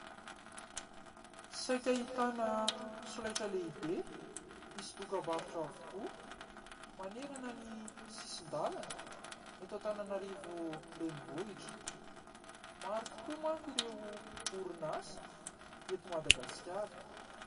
Saika ahitana solaitra lehibe misy dokam-barotra avokoa manerana ny sisin-dalana eto Antananarivo renivohitra. Maro tokoa manko ireo orinasa eto Madagasikara.